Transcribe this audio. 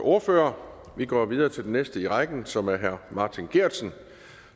ordfører vi går videre til den næste i rækken som er herre martin geertsen